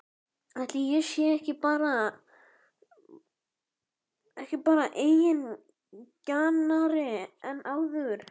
Ætli ég sé ekki bara eigingjarnari en áður?!